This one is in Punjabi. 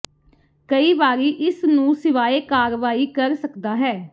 ਕਈ ਵਾਰੀ ਇਸ ਨੂੰ ਸਿਵਾਏ ਕਾਰਵਾਈ ਕਰ ਸਕਦਾ ਹੈ